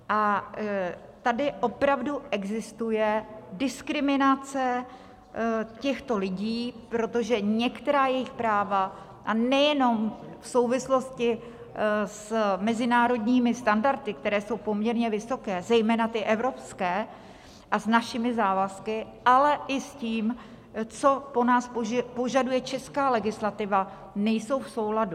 A tady opravdu existuje diskriminace těchto lidí, protože některá jejich práva, a nejenom v souvislosti s mezinárodními standardy, které jsou poměrně vysoké, zejména ty evropské, a s našimi závazky, ale i s tím, co po nás požaduje česká legislativa, nejsou v souladu.